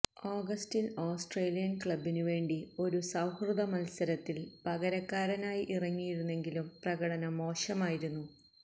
ഓഗസ്റ്റില് Australian ക്ലബിനു വേണ്ടി ഒരു സൌഹൃദ മത്സരത്തില് പകരക്കാരനായി ഇറങ്ങിയിരുന്നെങ്കിലും പ്രകടനം മോശമായിരുന്നു